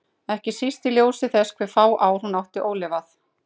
Ekki síst í ljósi þess hve fá ár hún átti ólifuð.